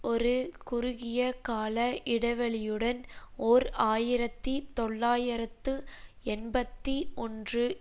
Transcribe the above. ஒரு குறுகிய கால இடைவெளியுடன் ஓர் ஆயிரத்தி தொள்ளாயிரத்து எண்பத்தி ஒன்று